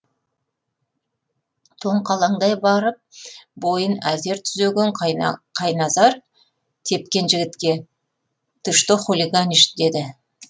тоңқалаңдай барып бойын әзер түзеген қайназар тепкен жігітке ты что хулиганишь деді